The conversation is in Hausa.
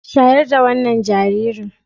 Shayar da wannan jaririn.